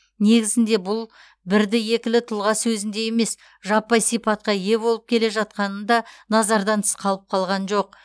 негізінде бұл бірді екілі тұлға сөзінде емес жаппай сипатқа ие болып келе жатқаны да назардан тыс қалып қалған жоқ